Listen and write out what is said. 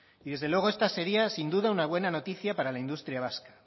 y desde luego esta sería sin duda una buena noticia para la industria vasca